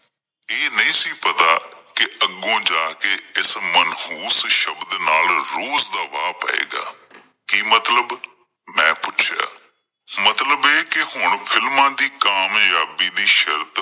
ਇਹ ਨਹੀਂ ਸੀ ਪਤਾ ਕਿ ਅੱਗੋਂ ਜਾ ਕਿ ਇਸ ਮਨਹੂਸ ਸ਼ਬਦ ਨਾਲ ਰੋਜ਼ ਦਾ ਵਾਹ ਪਏਗਾ ਕੀ ਮਤਲਬ ਮੈਂ ਪੁੱਛਿਆ, ਮਤਲਬ ਇਹ ਕੀ ਹੁਣ films ਦੀ ਕਾਮਯਾਬੀ ਦੀ ਸ਼ਰਤ